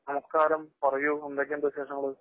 നമസ്കാരം പറയൂ. എന്തൊക്കെയുണ്ട് വെശേഷങ്ങള്?